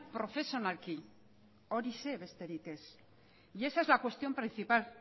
profesionalki horixe besterik ez y esa es la cuestión principal